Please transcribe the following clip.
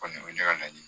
Kɔni o ye ne ka laɲini